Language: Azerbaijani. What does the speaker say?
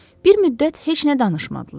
Bir müddət heç nə danışmadılar.